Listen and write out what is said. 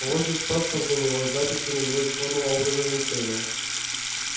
у вас есть паспорт на него с записями его исходного образа мышления